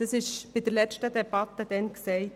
Dies wurde während der letzten Debatte gesagt.